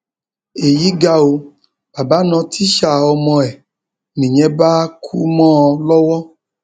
èyí ga ọ baba na tíṣà ọmọ ẹ nìyẹn bá kú mọ ọn lọwọ